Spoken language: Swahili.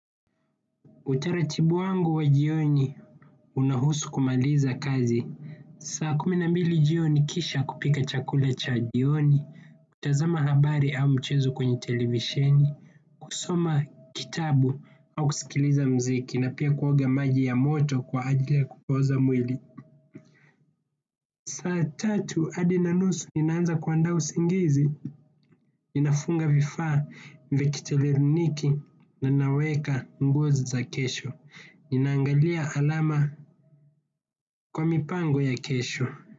Utaratibu wangu wa jioni unahusu kumaliza kazi. Saa kumi na mbili jioni kisha kupika chakula cha jioni, kutazama habari au mchezo kwenye televisheni, kusoma kitabu au kusikiliza muziki na pia kuoga maji ya moto kwa ajili ya kupoza mwili. Saa tatu hadi na nusu ninaanza kuandaa usingizi, ninafunga vifaa vyangu vya kielektroniki na naweka nguo za kesho. Ninaangalia alama kwa mipango ya kesho.